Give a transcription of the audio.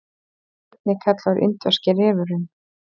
einnig kallaður indverski refurinn